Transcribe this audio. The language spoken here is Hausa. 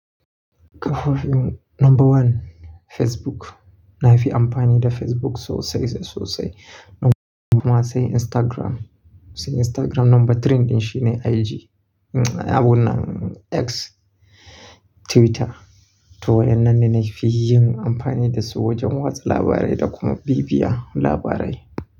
Kafar number one Facebook, na fi amfani da Facebook sosai sosai. Kuma sai Instagram, sai Instagram number three din shi ne IG. Abun nan X Twitter to waɗannan ne na fi yin amfani da su wajen watsa labarai da kuma bibiya labarai.